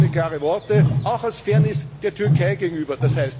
Offene, klare Worte, auch aus Fairness der Türkei gegenüber!